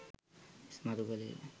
ඉස්මතු කළේ ය.